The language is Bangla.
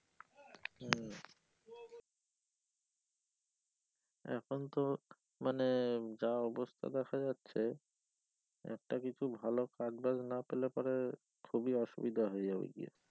এখন তো মানে যা হচ্ছে দেখা যাচ্ছে একটা কিছু ভালো কাজবাজ না পেলে পরে খুবই অসুবিধা হয়ে যাবে যে,